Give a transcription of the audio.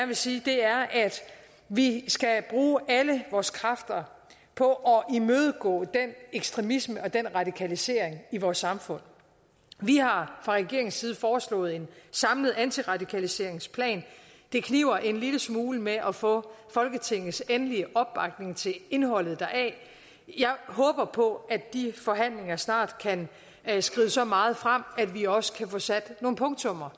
vil sige er at vi skal bruge alle vores kræfter på at imødegå den ekstremisme og den radikalisering i vores samfund vi har fra regeringens side foreslået en samlet antiradikaliseringsplan det kniber en lille smule med at få folketingets endelige opbakning til indholdet deri jeg håber på at de forhandlinger snart kan skride så meget frem at vi også kan få sat nogle punktummer